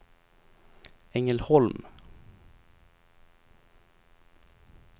Ängelholm